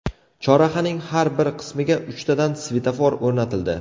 Chorrahaning har bir qismiga uchtadan svetofor o‘rnatildi.